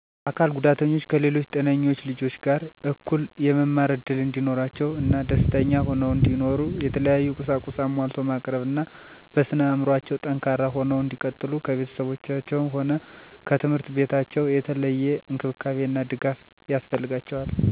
አካል ጉዳተኞች ከሌሎች ጤነኞች ልጆች ጋር እኩል የመማር እድል እንዲኖራቸው እና ደስተኛ ሁነው እንዲኖሩ የተለያዩ ቁሳቁስ አሟልቶ ማቅረብ እና በስነ አዕምሮአቸው ጠንካራ ሁነው እንዲቀጥሉ ከቤተሰባቸውም ሆነ ከትምህርት ቤታቸው የተለየ እንክብካቤ እና ድጋፍ ያስፈልጋቸዋል። በተለየ ለአካል ጉዳተኞች እንዲያግዙ ተብለው የሚሰሩ አጋዥ መሳሪያዎች ወይም ቴክኖሎጅዎች በቤተሰቦቻቸው ወይም አጋዥ አካላትን አፈላልጎ የሚያገኙበትነ ሁኔታ ቢመቻች ጥሩ ነዉ።